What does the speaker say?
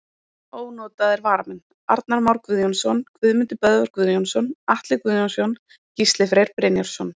Ónotaðir varamenn: Arnar Már Guðjónsson, Guðmundur Böðvar Guðjónsson, Atli Guðjónsson, Gísli Freyr Brynjarsson.